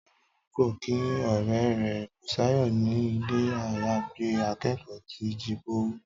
Tọ́lání lọ kí ọ̀rẹ́ rẹ̀ Bùsáyọ̀ ni ilé-àyágbé akẹ́kọ̀ọ́ ti Jíbówú